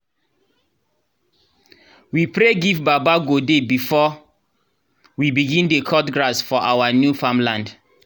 we pray give baba godey before we bign dey cut grass for our new farmland